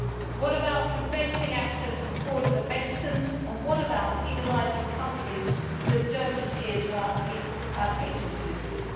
What about preventing access from fraudulent medicines, and what about penalising countries that do not adhere to our patent systems?